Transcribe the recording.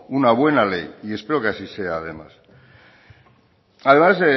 una buena ley y espero que así sea además